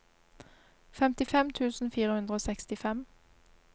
femtifem tusen fire hundre og sekstifem